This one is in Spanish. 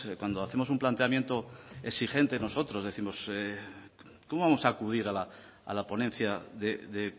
cuando hacemos un planteamiento exigentes nosotros décimos cómo vamos a acudir a la ponencia de